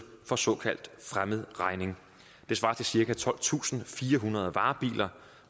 for såkaldt fremmed regning det svarer til cirka tolvtusinde og firehundrede varebiler